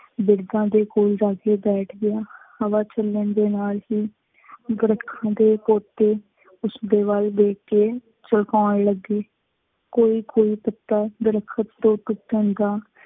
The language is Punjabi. ਬਿਰਦਾਂ ਦੇ ਕੋਲ ਜਾ ਕੇ ਬੈਠ ਗਿਆ। ਹਵਾ ਚੱਲਣ ਦੇ ਨਾਲ ਹੀ ਦਰੱਖਤਾਂ ਦੇ ਉਸ ਦੇ ਵੱਲ ਦੇਖ ਕੇ ਝੁਕਾਉਣ ਲੱਗੇ। ਕੋਈ ਕੋਈ ਪੱਤਾ ਦਰਖ਼ਤ ਤੋਂ ਟੁੱਟਣ ਦਾ